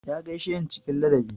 Ya gaishe ni cikin ladabi.